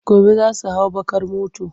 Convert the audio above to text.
Gobe za su hau baƙ ar motar.